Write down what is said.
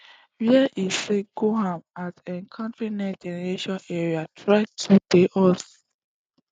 wey e say go aim at countering nextgeneration aerial threats to di us